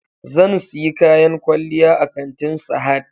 Zan siyi kayan kwalliya a kantin Sahad